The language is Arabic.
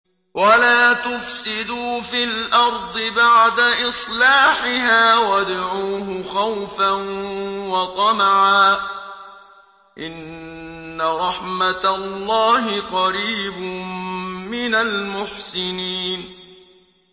وَلَا تُفْسِدُوا فِي الْأَرْضِ بَعْدَ إِصْلَاحِهَا وَادْعُوهُ خَوْفًا وَطَمَعًا ۚ إِنَّ رَحْمَتَ اللَّهِ قَرِيبٌ مِّنَ الْمُحْسِنِينَ